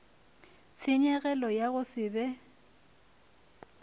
tshenyegelo ya go se be